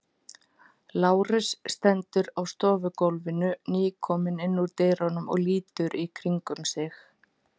Lárus stendur á stofugólfinu, nýkominn inn úr dyrunum og lítur í kringum sig.